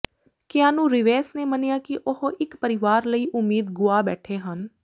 Keanu Reeves ਨੇ ਮੰਨਿਆ ਕਿ ਉਹ ਇਕ ਪਰਿਵਾਰ ਲਈ ਉਮੀਦ ਗੁਆ ਬੈਠੇ ਹਨ